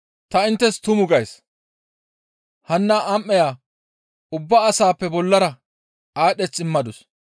«Ta inttes tumu gays; hanna am7eya ubba asaappe bollara aadheth immadus.